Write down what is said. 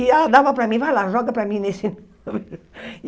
E ela dava para mim, vai lá, joga para mim nesse.